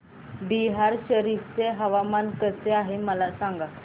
बिहार शरीफ चे हवामान कसे आहे मला सांगा